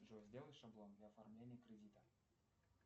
джой сделай шаблон для оформления кредита